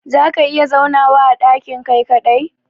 za ka iya zaunawa a dakin Kai kadai?